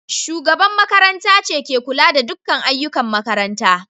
Shugabar makaranta ce ke kula da dukkan ayyukan makaranta.